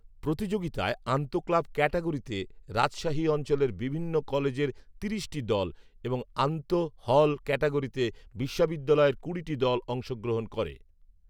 প্রতিযোগিতায় আন্তঃক্লাব ক্যাটাগরিতে রাজশাহী অঞ্চলের বিভিন্ন কলেজের তিরিশ টি দল এবং আন্তঃহল ক্যাটাগরিতে বিশ্ববিদ্যালয়ের কুড়িটি দল অংশগ্রহণ করে